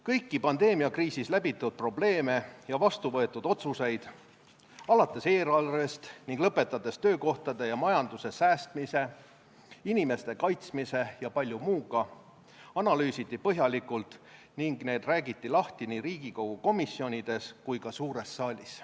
Kõiki pandeemiakriisis läbitud probleeme ja vastu võetud otsuseid – alates eelarvest ning lõpetades töökohtade ja majanduse säästmise, inimeste kaitsmise ja palju muuga – analüüsiti põhjalikult ning räägiti lahti nii Riigikogu komisjonides kui ka suures saalis.